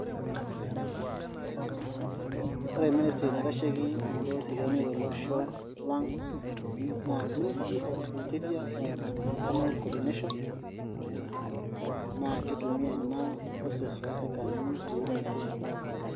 Ore ministry naitasheki imbaa eseriani tolosho lang', naa ministry of interior and internal coordination naa kitumia ina forces oo sikarini pee imaintain law and order.